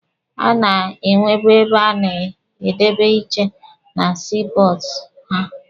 A na-enwebu ebe a na-edebe iche na sii pọọtụ ha.